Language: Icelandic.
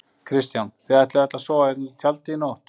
Kristján: Þið ætlið öll að sofa hérna úti í tjaldi í nótt?